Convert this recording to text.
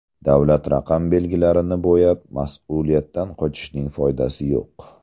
Davlat raqam belgilarini bo‘yab mas’uliyatdan qochishning foydasi yo‘q.